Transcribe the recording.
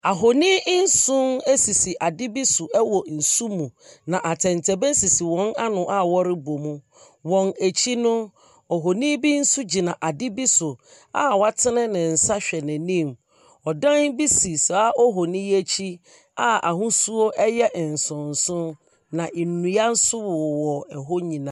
Ahonin nson ɛsisi ade bi so ɛwɔ nsu mu, na atɛntɛbɛn sisi wɔn ano a wɔrebɔ mu. Wɔn akyi no, ohonin bi nso gyina ade bi so a watene ne nsa hwɛ n’anim. Ɔdan bi si saa ohonin yi akyi a ahosuo ɛyɛ nsonson. Na nnua nso wowɔ ɛhɔ nyinaa.